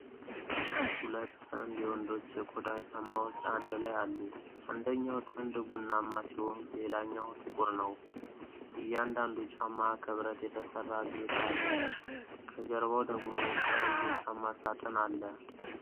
ሁለት ጥንድ የወንዶች የቆዳ ጫማዎች አንድላይ አሉ። አንደኛው ጥንድ ቡናማ ሲሆን ሌላኛው ጥቁር ነው። እያንዳንዱ ጫማ ከብረት የተሠራ ጌጥ አለው። ከጀርባው ደግሞ ቀይ የጫማ ሳጥን አለ።